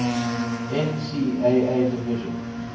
ncaa division